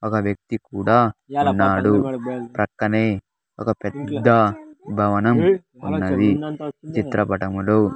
ఒక వ్యక్తి కూడా ఉన్నాడు పక్కనే ఒక పెద్ద భవనం ఉన్నది చిత్రపటంలో.